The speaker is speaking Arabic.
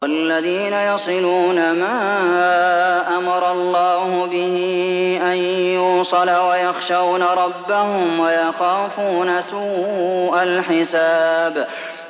وَالَّذِينَ يَصِلُونَ مَا أَمَرَ اللَّهُ بِهِ أَن يُوصَلَ وَيَخْشَوْنَ رَبَّهُمْ وَيَخَافُونَ سُوءَ الْحِسَابِ